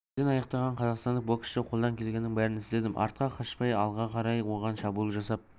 жерден аяқтаған қазақстандық боксшы қолдан келгеннің бәрін істедім артқа қашпай алға қарай оған шабуыл жасап